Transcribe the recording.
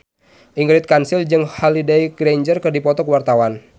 Ingrid Kansil jeung Holliday Grainger keur dipoto ku wartawan